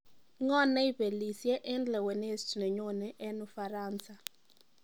ng'o neibelisye eng lewenet nenyone en ufaransa